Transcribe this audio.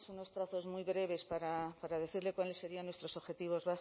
unos trazos muy breves para decirle cuáles serían nuestros objetivos